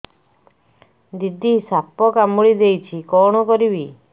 ଦିଦି ସାପ କାମୁଡି ଦେଇଛି କଣ କରିବି